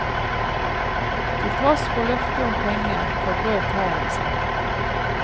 Til tross for løftet om penger, forbrøt hæren seg.